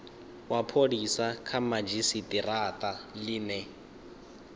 wa pholisa kha madzhisitirata line